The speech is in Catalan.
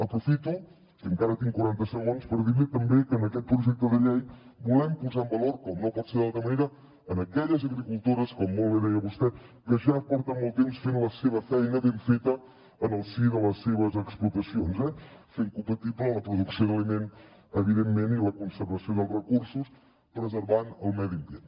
aprofito que encara tinc quaranta segons per dir li també que en aquest projecte de llei volem posar en valor com no pot ser d’altra manera en aquelles agricultores com molt bé deia vostè que ja porten molt temps fent la seva feina ben feta en el si de les seves explotacions fent compatible la producció d’aliment evidentment i la conservació dels recursos preservant el medi ambient